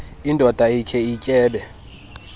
indoda ikhe ityebe